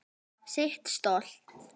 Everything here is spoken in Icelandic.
Sitt stolt.